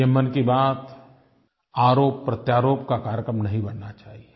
ये मन की बात आरोपप्रत्यारोप का कार्यक्रम नहीं बनना चाहिए